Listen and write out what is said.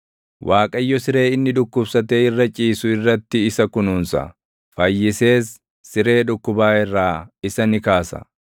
Waaqayyo siree inni dhukkubsatee irra ciisu irratti isa kunuunsa; fayyisees siree dhukkubaa irraa isa ni kaasa.